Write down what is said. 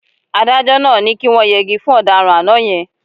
Adájọ́ náà ní kí wọ́n yẹgi fún ọ̀daràn àná yẹn.